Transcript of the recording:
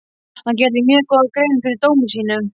Hann gerði mjög góða grein fyrir dómi sínum.